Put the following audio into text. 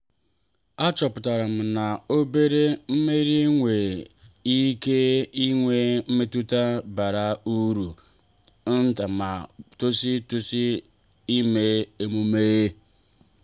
a chọpụtara m na obere mmeri nwere ike inwe mmetụta bara uru ma tosi tosi ime emume.